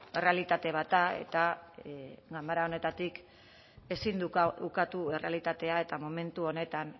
errealitate bat da eta ganbara honetatik ezin du ukatu errealitatea eta momentu honetan